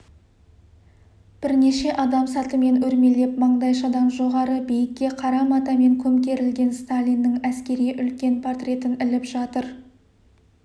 бірнеше адам сатымен өрмелеп маңдайшадан жоғары биікке қара матамен көмкерілген сталиннің әскери үлкен портретін іліп жатыр